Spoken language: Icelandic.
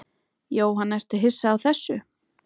Jóhann: Ertu hissa á þessu?